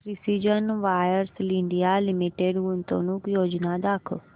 precision wires India limited गुंतवणूक योजना दाखव